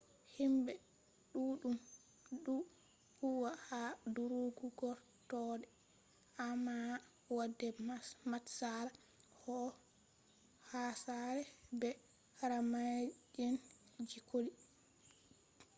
himɓe ɗuɗɗun ɗo huwa ha durugu gortoɗe amma wode matsala ko hasare be karama’en je colli